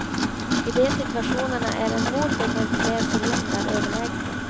I de situationerna är en motor med fler cylindrar överlägsen.